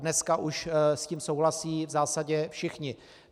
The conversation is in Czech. Dneska už s tím souhlasí v zásadě všichni.